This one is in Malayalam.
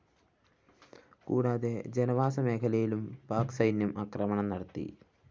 കൂടാതെ ജനവാസ മേഖലയിലും പാക് സൈന്യം ആക്രമണം നടത്തി